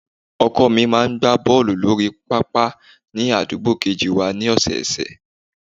Ọkọ mi máa ń gbá bọ́ọ̀lù lórí pápá ni àdúgbò kejì wá ní ọ̀sọ̀ọ̀sẹ̀